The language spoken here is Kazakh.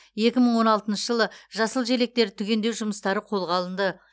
екі мың он алтыншы жылы жасыл желектерді түгендеу жұмыстары қолға алынды